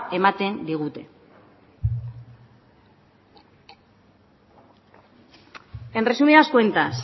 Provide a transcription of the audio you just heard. ematen digute en resumidas cuentas